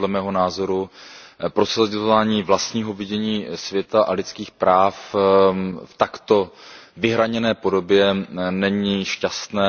Podle mého názoru prosazování vlastního vidění světa a lidských práv v takto vyhraněné podobě není šťastné.